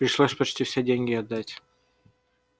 пришлось почти все деньги отдать